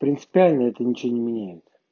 принципиально это ничего не меняет